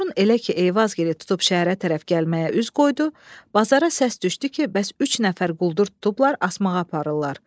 Qoşun elə ki, Eyvazgili tutub şəhərə tərəf gəlməyə üz qoydu, bazara səs düşdü ki, bəs üç nəfər quldur tutublar asmağa aparırlar.